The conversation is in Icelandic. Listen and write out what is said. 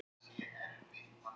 Steindór og Óskar.